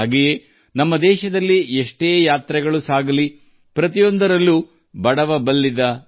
ಅದೇ ರೀತಿ ನಮ್ಮ ದೇಶದಲ್ಲಿ ನಡೆಯುವ ಎಲ್ಲಾ ಪ್ರಯಾಣಗಳಲ್ಲಿಯೂ ಬಡವಬಲ್ಲಿದ ಎಂಬ ಭೇದಭಾವವಿರುವುದಿಲ್ಲ